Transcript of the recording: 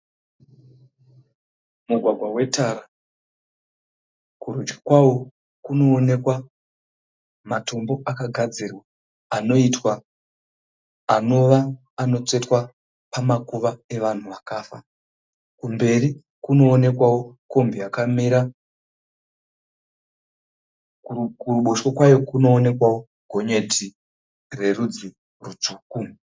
Mugwagwa wetara kurudyi kwawo kunoonekwa matombo akagadzirwa anoitwa, anova anotsvetwa kwevanhu vakafa kumberi kunoonekwawo kombi yakamira. Kuruboshwe kunoonekwa gonyeti rerudzi rutsvuku.